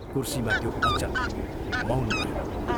कुर्सीमा त्यो अचल, मौन रह्यो।